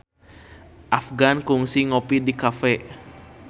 Afgan kungsi ngopi di cafe